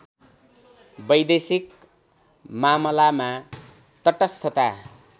वैदेशिक मामलामा तटस्थता